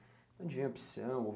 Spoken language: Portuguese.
Onde veio a opção?